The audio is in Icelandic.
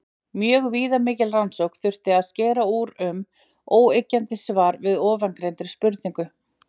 Mjög viðamikla rannsókn þyrfti til að skera úr um óyggjandi svar við ofangreindri spurningu.